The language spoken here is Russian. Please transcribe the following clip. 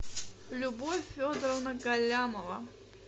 любовь федоровна галямова